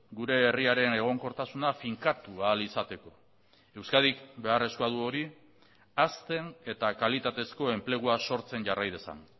gure herriaren egonkortasuna finkatu ahal izateko euskadik beharrezkoa du hori hazten eta kalitatezko enplegua sortzen jarrai dezan